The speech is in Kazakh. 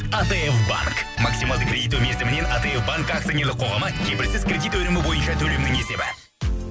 атф банк максималды кредиттеу мерзімінен атф банк акционерлік қоғамы кепілсіз кредит өнімі бойынша төлемнің есебі